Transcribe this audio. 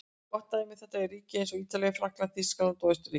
Gott dæmi um þetta eru ríki eins og Ítalía, Frakkland, Þýskaland og Austurríki.